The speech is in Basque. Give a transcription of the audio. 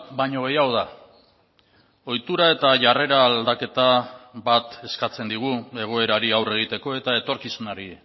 baino gehiago da ohitura eta jarrera aldaketa bat eskatzen digu egoerari aurre egiteko eta etorkizunari